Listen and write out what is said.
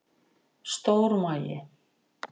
Stór magi